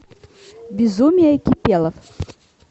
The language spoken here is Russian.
безумие кипелов